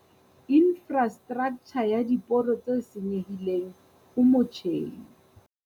Infrastraktjha ya diporo tse senyehileng o motjheng.